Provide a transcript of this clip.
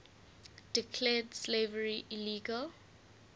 declared slavery illegal